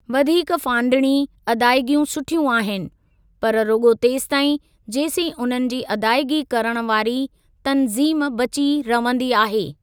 वधीक फांडिणी अदाइगियूं सुठियूं आहिनि, पर रुगो॒ तेसिताईं, जेसी उन्हनि जी अदाइगी करणु वारी तनज़ीम बची रवंदी आहे।